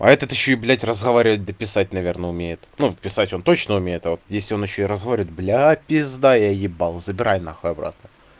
а этот ещё и блять разговаривать да писать наверное умеет ну писать он точно умеет а вот если он ещё и разговаривает бля пизда я ебал забирай нахуй обратно